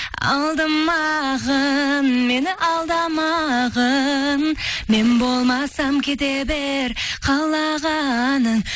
алдамағың мені алдамағың мен болмасам кете бер қалағаның